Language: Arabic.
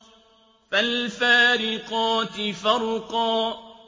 فَالْفَارِقَاتِ فَرْقًا